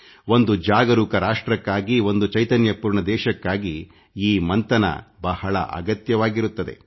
ಒಂದು ಜಾಗರೂಕ ರಾಷ್ಟ್ರಕ್ಕಾಗಿ ಒಂದು ಚೈತನ್ಯ ಪೂರ್ಣ ದೇಶಕ್ಕಾಗಿ ಈ ಮಂಥನ ಬಹಳ ಅಗತ್ಯವಾಗಿರುತ್ತದೆ